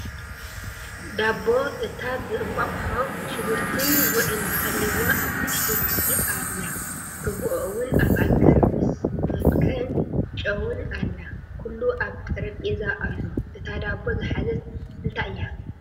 ዳቦ፣ እታቭእንቃቁሖ ሽጉርቲን ጉዕን ሃሊዩዋ ኣብ ንእሽተይ ድስቲ ኣላ ሩጉኦ እዉን ኣብ ኣጋር ምስ ማንክኣን ጨዉን ኣላ ኩሉ ኣብ ጥረቤዛ ኣሎ እታ ዳቦ ዝሓዘት እንታይ እያ ?